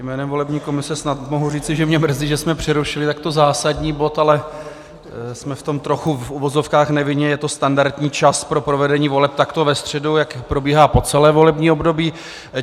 Jménem volební komise snad mohu říci, že mě mrzí, že jsme přerušili takto zásadní bod, ale jsme v tom trochu v uvozovkách nevinně, je to standardní čas pro provedení voleb takto ve středu, jak probíhá po celé volební období.